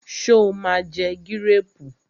Sọ ma jẹ gírèrù?